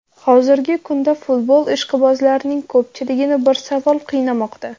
Hozirgi kunda futbol ishqibozlarining ko‘pchiligini bir savol qiynamoqda.